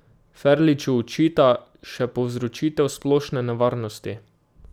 Ferliču očita še povzročitev splošne nevarnosti.